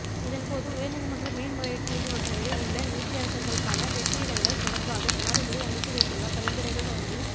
இதன்போது உயர்நீதிமன்ற மேன்முறையீட்டு நீதிமன்றங்களில் உள்ள நீதியரசர்களுக்கான வெற்றிடங்கள் தொடர்பாக ஜனாதிபதி அனுப்பி வைத்துள்ள பரிந்துரைகள் தொடர்பில்